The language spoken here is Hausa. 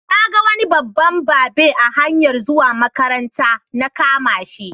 Na ga wani babban babe a hanyar zuwa makaranta, na kama shi.